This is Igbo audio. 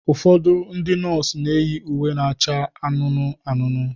Ụfọdụ ndị nọọsụ na-eyi uwe na-acha anụnụ anụnụ.